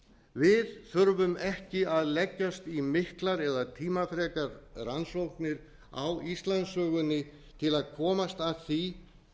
við þurfum ekki að leggjast í miklar eða tímafrekar rannsóknir á íslandssögunni til að komast að því